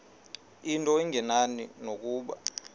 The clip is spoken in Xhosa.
into engenani nokuba